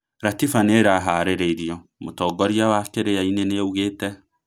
Ratiba nũĩraharĩrĩrio, mũtongoria wa Kĩrĩainĩ nĩaugĩte